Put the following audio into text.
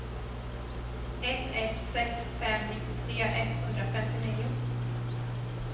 ett ett sex fem nittiotre etthundrafemtionio